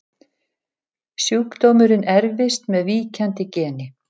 Sjúkdómurinn erfist með víkjandi geni.